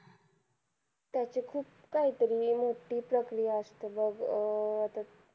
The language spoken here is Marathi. त्याची खूप काहीतरी मोठी प्रक्रिया असते बघ. अं आता